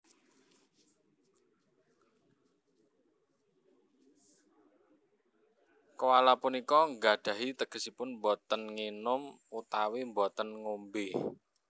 Koala punika nggadhahi tegesipun boten nginum utawi boten ngombé